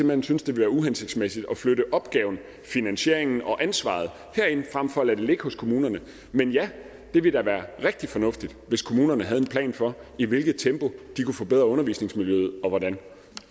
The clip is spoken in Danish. hen synes det bliver uhensigtsmæssigt at flytte opgaven finansieringen og ansvaret herind frem for at lade det ligge hos kommunerne men ja det ville da være rigtig fornuftigt hvis kommunerne havde en plan for i hvilket tempo de kunne forbedre undervisningsmiljøet og hvordan